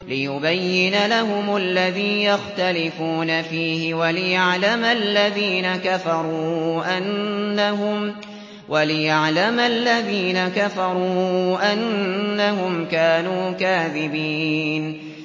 لِيُبَيِّنَ لَهُمُ الَّذِي يَخْتَلِفُونَ فِيهِ وَلِيَعْلَمَ الَّذِينَ كَفَرُوا أَنَّهُمْ كَانُوا كَاذِبِينَ